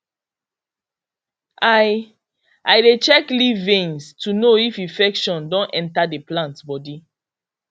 i i dey check leaf veins to know if infection don enter the plant body